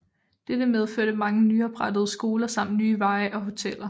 Dette medførte mange nyoprettede skoler samt nye veje og hoteller